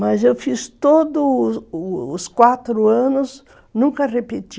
Mas eu fiz todos os os quatro anos, nunca repeti.